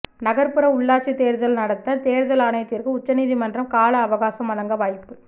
நகர்ப்புற உள்ளாட்சி தேர்தல் நடத்த தேர்தல் ஆணையத்திற்கு உச்சநீதிமன்றம் கால அவகாசம் வழங்க வாய்ப்பு